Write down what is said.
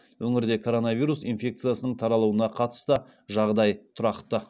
өңірде коронавирус инфекциясының таралуына қатысты жағдай тұрақты